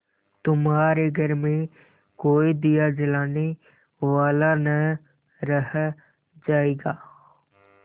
तुम्हारे घर में कोई दिया जलाने वाला न रह जायगा